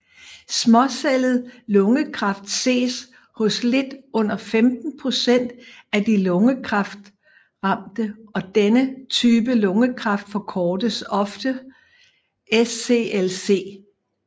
Småcellet lungekræft ses hos lidt under 15 procent af de lungekræftramte og denne type lungekræft forkortes ofte SCLC